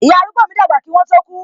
Ìyá arúgbó mi dàgbà kí wọn tó ku